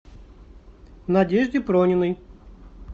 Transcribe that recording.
надежде прониной